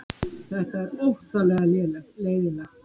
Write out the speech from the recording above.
Þetta er óttalega leiðinlegt